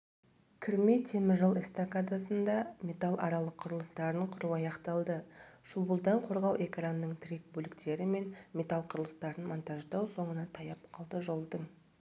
кірме теміржол эстакадасында металл аралық құрылыстарын құру аяқталды шуылдан қорғау экранының тірек бөліктері мен металл құрылыстарын монтаждау соңына таяп қалды жолдың